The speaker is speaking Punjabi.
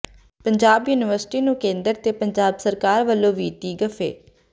ਪੰਜਾਬ ਯੂਨੀਵਰਸਿਟੀ ਨੂੰ ਕੇਂਦਰ ਤੇ ਪੰਜਾਬ ਸਰਕਾਰ ਵੱਲੋਂ ਵਿੱਤੀ ਗੱਫੇ